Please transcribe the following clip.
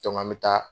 an bɛ taa